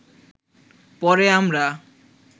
পরে আমরা